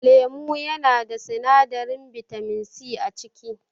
Lemo yanada sinadarin bitaminsi a ciki